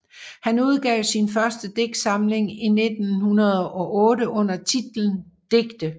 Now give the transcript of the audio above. Han udgav sin første digtsamling i 1908 under titlen Digte